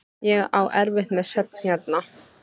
Ég á erfitt með svefn hérna.